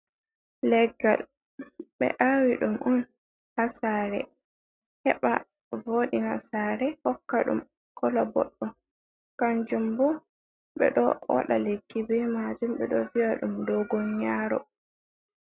Leggal, ɓe awi ɗum on hasare, heba vodina sare hokka ɗum kola boɗɗum, kanjum bo ɓeɗo waɗa lekki be majum ɓeɗo vi’a ɗum dogon yaro.